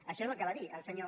això és el que va dir el senyor